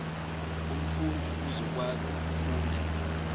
umfundi uzokwazi ukufunda